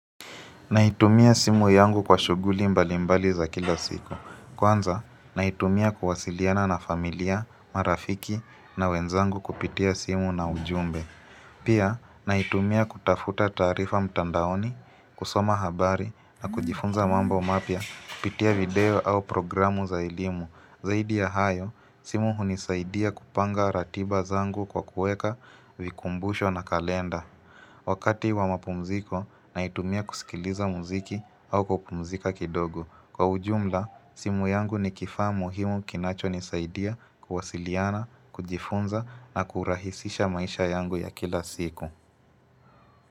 Naitumia simu yangu kwa shughuli mbalimbali za kila siku. Kwanza, naitumia kuwasiliana na familia, marafiki na wenzangu kupitia simu na ujumbe. Pia, naitumia kutafuta taarifa mtandaoni, kusoma habari na kujifunza mambo mapya kupitia video au programu za elimu. Zaidi ya hayo, simu hunisaidia kupanga ratiba zangu kwa kueka vikumbusho na kalenda. Wakati wa mapumziko, naitumia kuskiliza muziki au kupumzika kidogo. Kwa ujumla, simu yangu ni kifaa muhimu kinachonisaidia kuwasiliana, kujifunza na kurahisisha maisha yangu ya kila siku.